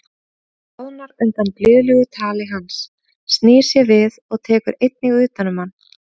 Hún bráðnar undan blíðlegu tali hans, snýr sér við og tekur einnig utan um hann.